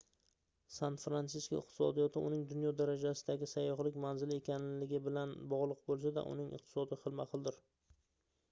san-fransisko iqtisodiyoti uning dunyo darajasidagi sayyohlik manzili ekanligi bilan bogʻliq boʻlsa-da uning iqtisodi xilma-xildir